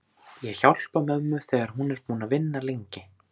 Ég hjálpa mömmu þegar hún er búin að vinna lengi.